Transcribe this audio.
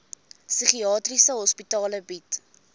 psigiatriese hospitale bied